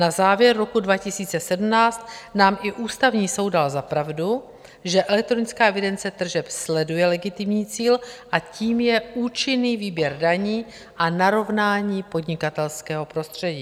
Na závěr roku 2017 nám i Ústavní soud dal za pravdu, že elektronická evidence tržeb sleduje legitimní cíl a tím je účinný výběr daní a narovnání podnikatelského prostředí.